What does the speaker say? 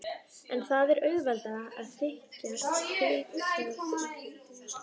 En það er auðveldara að þykjast ekkert vita, ekki satt.